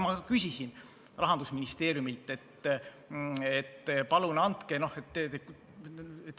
Ma küsisin Rahandusministeeriumilt, et palun andke neid andmeid.